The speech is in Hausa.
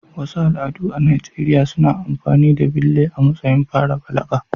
Wasu al'adu a Najeriya suna amfani da bille a matsayin fara balaga.